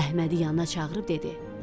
Əhmədi yanına çağırıb dedi: